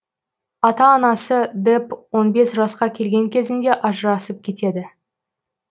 ата анасы депп он бес жасқа келген кезінде ажырасып кетеді